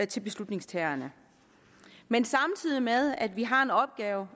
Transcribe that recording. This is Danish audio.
til beslutningstagerne men samtidig med at vi har en opgave